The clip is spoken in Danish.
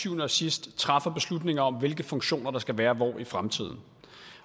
syvende og sidst træffer beslutninger om hvilke funktioner der skal være hvor i fremtiden